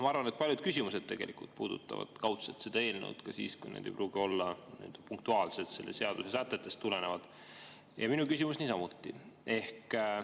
Ma arvan, et paljud küsimused puudutavad kaudselt seda eelnõu ka siis, kui need ei pruugi olla nii-öelda punktuaalselt selle seaduse sätetest tulenevad, minu küsimus niisamuti.